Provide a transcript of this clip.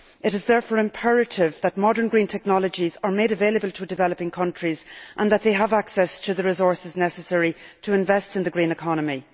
It is therefore imperative that modern green technologies be made available to developing countries and that these countries have access to the resources necessary to invest in the green economy.